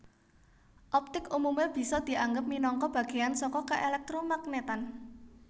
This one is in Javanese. Optik umume bisa dianggep minangka bagéyan saka keelektromagnetan